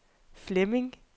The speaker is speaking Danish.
Flemming